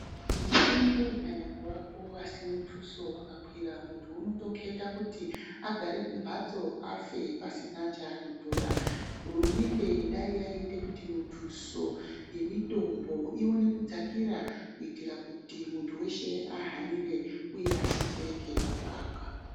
Mitombo ikanyambovapo asi mutuso wakakwira muntu anotoketa agare kumbatso afe pasina chanotora hurumende dai yaiite kuti mutuso yemitombo iwone dzakira kuitira kuti muntu weshe ahanire uye abetsereke pakurapwa.